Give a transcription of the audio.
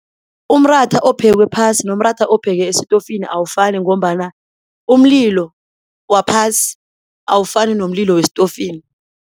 Umratha ophekwe phasi nomratha ophekwe esitofini awufani ngombana umlilo waphasi, awufani nomlilo westofini.